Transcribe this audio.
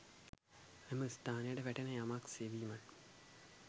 එම ස්ථානයට වැටෙන යමක් සෙවීම